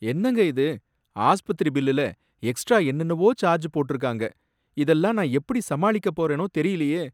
என்னங்க இது! ஆஸ்பத்திரி பில்லுல எக்ஸ்ட்ரா என்னென்வோ சார்ஜ் போட்டிருக்காங்க, இதெல்லாம் நான் எப்படி சமாளிக்கப் போறேனோ தெரியலயே!